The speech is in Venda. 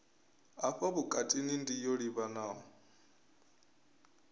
hafha vhutukani ndi yo livhanaho